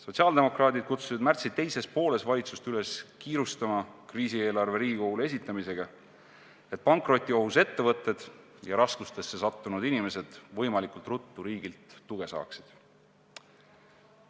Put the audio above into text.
Sotsiaaldemokraadid kutsusid märtsi teises pooles valitsust üles kiirustama kriisieelarve Riigikogule esitamisega, et pankrotiohus ettevõtted ja raskustesse sattunud inimesed võimalikult ruttu riigilt tuge saaksid.